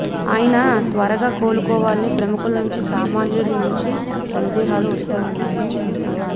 ఆయన త్వరగా కోలుకోవాలని ప్రముఖుల నుంచి సామాన్యుల నుంచి సందేశాలు వస్తున్నాయని అన్నారు